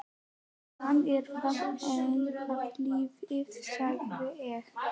Hann er þá enn á lífi sagði ég.